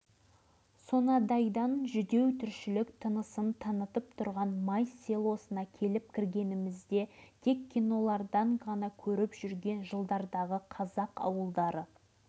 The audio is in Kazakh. елден естіген небір сұмдық оқиғалардың әсерінде отырып ауылына жақындап қалғанымызды байқамаппын